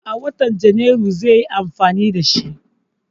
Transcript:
A watan Janairu zai yi amfani da shi.